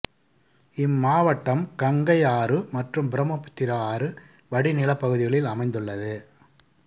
இம்மாவட்டம் கங்கை ஆறு மற்றும் பிரம்மபுத்திரா ஆறு வடிநிலப் பகுதிகளில் அமைந்துள்ளது